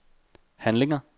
handlinger